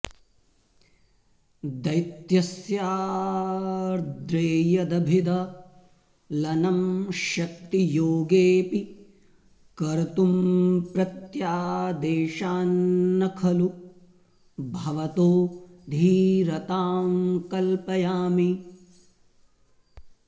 दैत्यस्याऽद्रेर्यदभिदलनं शक्तियोगेऽपि कर्तुं प्रत्यादेशान्न खलु भवतो धीरतां कल्पयामि